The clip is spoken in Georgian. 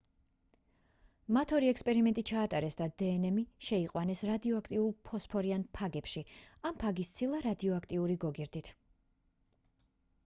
მათ ორი ექსპერიმენტი ჩაატარეს ან დნმ შეიყვანეს რადიოაქტიურ ფოსფორიან ფაგებში ან ფაგის ცილა რადიოაქტიური გოგირდით